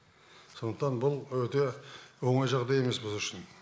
сондықтан бұл өте оңай жағдай емес біз үшін